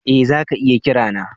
Eh, za ka iya kira ni.